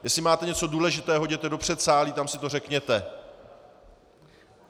Jestli máte něco důležitého, jděte do předsálí, tam si to řekněte.